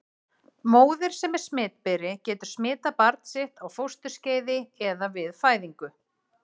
Móðir sem er smitberi getur smitað barn sitt á fósturskeiði eða við fæðingu.